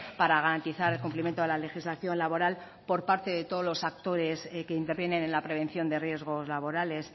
para garantizar el cumplimiento de la legislación laboral por parte de todos los actores que intervienen en la prevención de riesgos laborales